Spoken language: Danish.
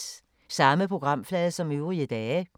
Samme programflade som øvrige dage